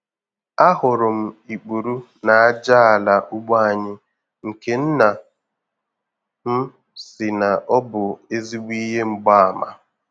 A hụrụ m ikpuru n'aja ala ugbo anyị nke nna m sị na ọ bụ ezigbo ihe mgbaàmà.